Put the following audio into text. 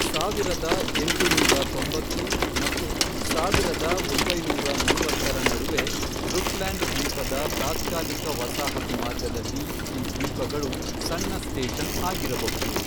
ಸಾವಿರದ ಎಂಟುನೂರ ತೊಂಬತ್ತು ಮತ್ತು ಸಾವಿರದ ಒಂಬೈನೂರ ಮೂವತ್ತರ ನಡುವೆ ರುಟ್ಲ್ಯಾಂಡ್ ದ್ವೀಪದ ತಾತ್ಕಾಲಿಕ ವಸಾಹತು ಮಾರ್ಗದಲ್ಲಿ ಈ ದ್ವೀಪಗಳು ಸಣ್ಣ ಸ್ಟೇಷನ್ ಆಗಿರಬಹುದು.